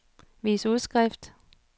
vis udskrift